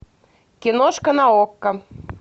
киношка на окко